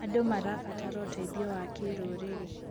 Andũ marabatara ũteithio wa kĩrũrĩrĩ.